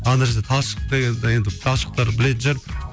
ана жерде талшық деген енді талшықтар білетін шығар